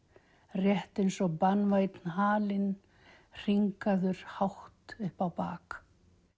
rétt eins og banvænn halinn hátt upp á bak